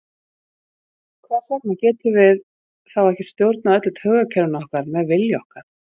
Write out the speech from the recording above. Hvers vegna getum við þá ekki stjórnað öllu taugakerfinu með vilja okkar?